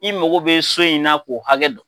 I mago bɛ so in na k'o hakɛ don.